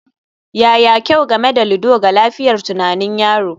Yaya kyau game da ludo ga lafiyar tunanin yaro?